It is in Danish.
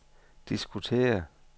diskutere